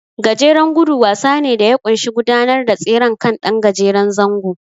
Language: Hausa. Gajeren gudu wasa ne da ya ƙunshi gudanar da tseren kan ɗan gajeren zango.